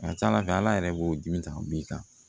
A ka ca ala fɛ ala yɛrɛ b'o dimi ta b'i kan